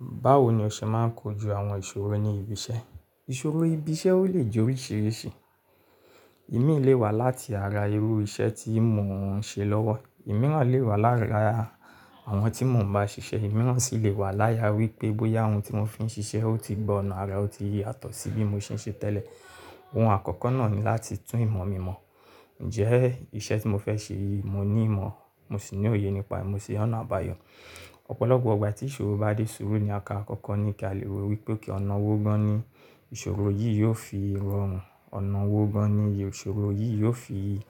Báwo ni o ṣe máa ń kojú àwọn ìṣòro ní ibi iṣẹ́? Ìṣòro ibi iṣẹ́ ó lè jẹ́ oríṣìíríṣìí. Ìmí lé wà láti ara irú iṣẹ́ tí mò ń ṣe lọ́wọ́. Ìmíràn lè wà lara àwọn tí mò ń bá ṣiṣẹ́. Ìmíràn si lè wà lára wípé bóyá ohun tí mò fi ń ṣiṣẹ́ ó ti gbọ̀nà ara, ó ti yàtọ̀ sí bí mo ṣe ń ṣe tẹ́lẹ̀. Ohun àkọ́kọ́ náà ni láti tún ìmọ̀ mi mọ̀. Ǹjẹ́ iṣẹ́ tí mo fẹ́ ṣe yìí mo ní ìmọ̀, mo sì ní òye nípa ẹ, mo sì ri ọ̀nà àbáyọ. Ọ̀pọ̀lọpọ̀ igbà tí ìṣòro bá dé sùúrù ni nkan àkọ́kọ́ ni kí a lè wo wípé ok ọ̀nà wó gan ni ìṣòro yìí yóò fi rọrùn. Ọ̀nà wó gan ni ìṣòro yìí yóò fi